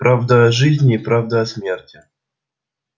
правду о жизни правду о смерти